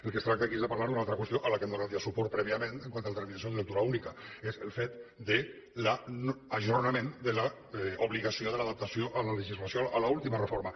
del que es tracta aquí és de parlar d’una altra qüestió a la qual hem donat ja suport prèviament quant a la determinació de lectura única és el fet de l’ajornament de l’obligació de l’adaptació a la legislació a l’última reforma